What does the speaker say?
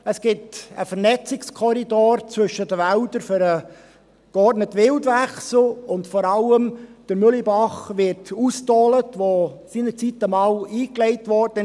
Es gibt einen Vernetzungskorridor zwischen den Wäldern für den geordneten Wildwechsel, und vor allem wird der Mühlebach ausgedolt, welcher seinerzeit einmal eingelegt wurde.